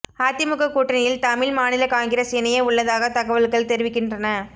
அதிமுக கூட்டணியில் தமிழ் மாநில காங்கிரஸ் இணைய உள்ளதாக தகவல்கள் தெரிவிக்கின்றன